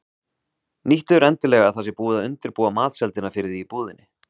Nýttu þér endilega að það sé búið að undirbúa matseldina fyrir þig í búðinni.